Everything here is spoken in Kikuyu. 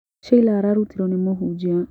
Sheila ararutiro nĩ mũhujia.